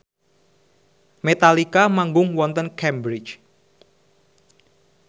Metallica manggung wonten Cambridge